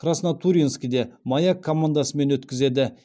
краснотурьинскіде маяк командасымен өткізеді